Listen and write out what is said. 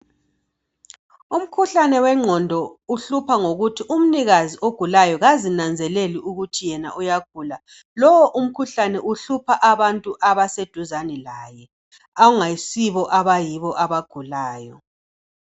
Umkhuhlane wengqondo uhlupha ngokuthi umnikazi ogulayo kazinanzeleli ukuthi yena uyagula. Lowo umkhuhlane uhlupha abantu abaseduzane laye awungayisibo abayibo abagulayo.